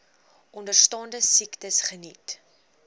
onderstaande siektes geniet